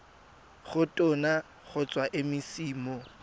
go tona kgotsa mec mo